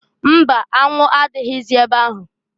Mba! Anwụ adịghịzị ebe ahụ.